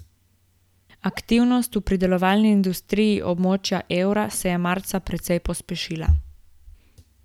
Aktivnost v predelovalni industriji območja evra se je marca precej pospešila.